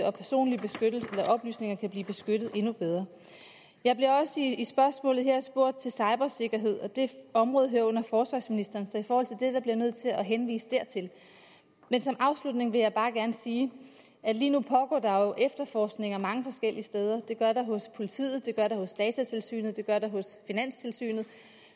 og personlige oplysninger kan blive beskyttet endnu bedre jeg bliver også i spørgsmålet her spurgt til cybersikkerhed det område hører under forsvarsministeren så i forhold til det bliver jeg nødt til at henvise dertil men som afslutning vil jeg bare gerne sige at lige nu pågår der jo efterforskning mange forskellige steder det gør der hos politiet det gør der hos datatilsynet det gør der hos finanstilsynet